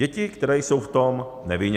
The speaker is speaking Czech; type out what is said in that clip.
Děti, které jsou v tom nevinně.